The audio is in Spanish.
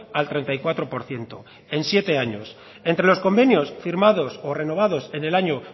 al treinta y cuatro por ciento en siete años entre los convenios firmados o renovados en el año